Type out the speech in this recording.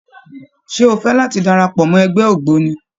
Ṣé o fẹ́ láti darapọ̀ mọ́ ẹgbẹ́ ògbóni?